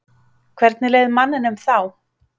Hvernig leið manninum þá?